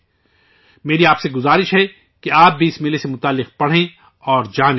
میری آپ سے درخواست ہے کہ آپ بھی اس میلے کو بارے میں پڑھیں اور معلومات حاصل کریں